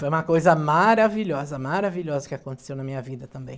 Foi uma coisa maravilhosa, maravilhosa que aconteceu na minha vida também.